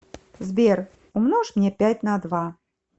сбер умножь мне пять на два